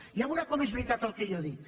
ja veurà com és veritat el que jo dic